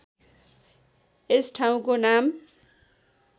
यस ठाउँको नाम